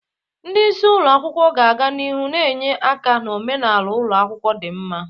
Ndị isi ụlọ akwụkwọ ga-aga n'ihu na-enye aka na omenala ụlọ akwụkwọ dị mma.